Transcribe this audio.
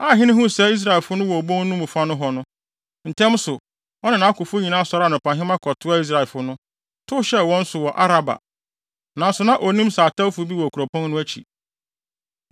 Aihene huu sɛ Israelfo no wɔ obon no fa nohɔ no, ntɛm so, ɔne nʼakofo nyinaa sɔree anɔpahema kɔtoaa Israelfo no, tow hyɛɛ wɔn so wɔ Araba. Nanso, na onnim sɛ atɛwfo bi wɔ kuropɔn no akyi.